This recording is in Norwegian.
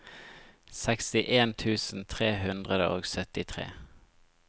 sekstien tusen tre hundre og syttitre